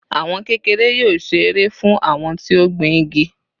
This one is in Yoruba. Àwọn kékeré yóò ṣe èrè fún àwọn tí ó gbìn igi